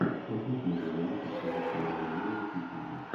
космос между нами с актрисой кларой румяновой включи мне